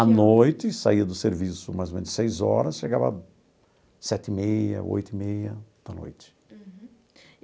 À noite, saía do serviço mais ou menos seis horas, chegava sete e meia, oito e meia da noite. Uhum.